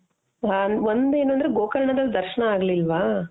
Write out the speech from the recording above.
ಒಂದೇನು ಅಂದ್ರೆ ಗೋಕರ್ಣದಲ್ಲಿ ದರ್ಶ್ನ ನೆ ಆಗ್ಲಿಲ್ವಾ